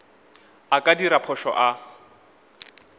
a ka dira phošo a